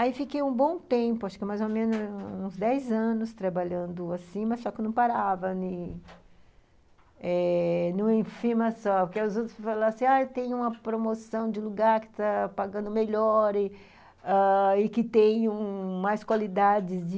Aí fiquei um bom tempo, acho que mais ou menos uns dez anos trabalhando assim, mas só que eu não parava em uma firma só, porque os outros falavam assim, ah, tem uma promoção de lugar que está pagando melhor e ãh que tem mais qualidades de...